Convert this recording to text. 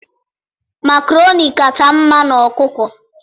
makaroni kacha mma n' ọkụkọ.